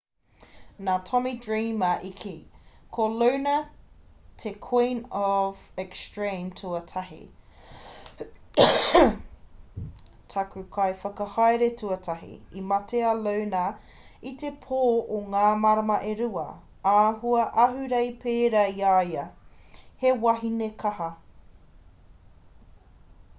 nā tommy dreamer i kī ko luna te queen of extreme tuatahi taku kaiwhakahaere tuatahi i mate a luna i te pō o ngā marama e rua āhua ahurei pērā i a ia he wahine kaha